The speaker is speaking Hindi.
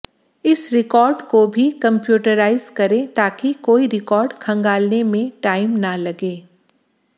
इस रिकार्ड को भी कम्प्यूटराइज करें ताकि कोई रिकार्ड खंगालने में टाइम न लगे